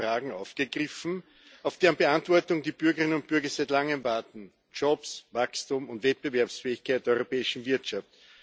Es werden Fragen aufgegriffen, auf deren Beantwortung die Bürgerinnen und Bürger seit langem Warten Jobs, Wachstum und Wettbewerbsfähigkeit der europäischen Wirtschaft.